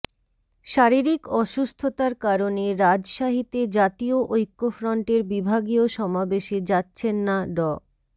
শারীরিক অসুস্থতার কারণে রাজশাহীতে জাতীয় ঐক্যফ্রন্টের বিভাগীয় সমাবেশে যাচ্ছেন না ড